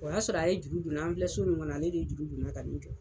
O y'a sɔrɔ a ye juru don n na. An filɛ so min kɔnɔ ale de ye juru don n na ka jɔ.